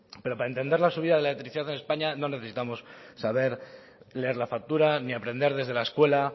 pero para entender la subida de la electricidad en españa no necesitamos saber leer la factura ni aprender desde la escuela